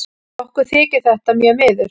Okkur þykir þetta mjög miður.